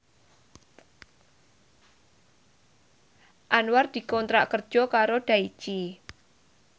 Anwar dikontrak kerja karo Daichi